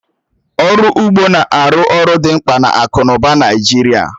Ọrụ ugbo na-arụ ọrụ dimkpa na akụ n'ụba Naịjirịa